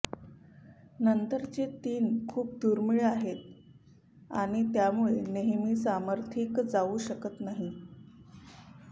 नंतरचे तीन खूप दुर्मिळ आहेत आणि त्यामुळे नेहमी समर्थित जाऊ शकत नाही